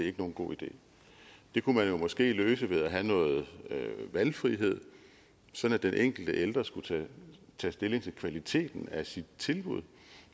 er nogen god idé det kunne man jo måske løse ved at have noget valgfrihed sådan at den enkelte ældre skulle tage stilling til kvaliteten af sit tilbud